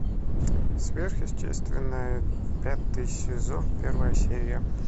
сверхъестественное пятый сезон первая серия